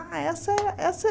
Essa é essa é